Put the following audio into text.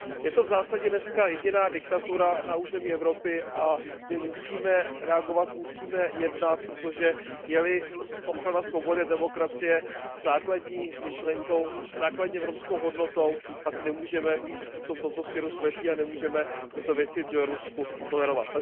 Je to v zásadě dnes jediná diktatura na území Evropy a my musíme reagovat, musíme jednat, protože je li ochrana svobody a demokracie základní myšlenkou, základní evropskou hodnotou, pak nemůžeme být v tomto směru slepí a nemůžeme tyto věci v Bělorusku tolerovat.